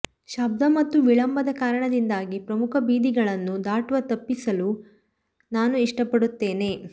ಶಬ್ದ ಮತ್ತು ವಿಳಂಬದ ಕಾರಣದಿಂದಾಗಿ ಪ್ರಮುಖ ಬೀದಿಗಳನ್ನು ದಾಟುವ ತಪ್ಪಿಸಲು ನಾನು ಇಷ್ಟಪಡುತ್ತೇನೆ